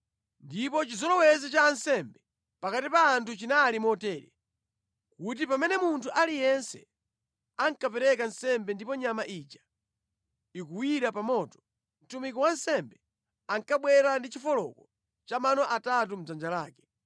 Ndipo chizolowezi cha ansembe pakati pa anthu chinali motere kuti pamene munthu aliyense ankapereka nsembe ndipo nyama ija ikuwira pa moto, mtumiki wa wansembe ankabwera ndi chifoloko cha mano atatu mʼdzanja lake.